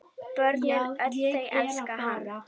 Börnin öll þau elska hann.